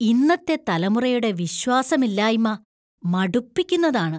ഇന്നത്തെ തലമുറയുടെ വിശ്വാസമില്ലായ്മ മടുപ്പിക്കുന്നതാണ്.